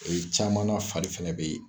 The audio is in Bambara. caman na fari fɛnɛ bɛ ye.